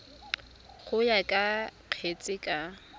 go ya ka kgetse ka